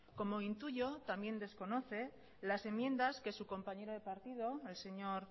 como intuyo también desconoce las enmiendas que su compañero de partido el señor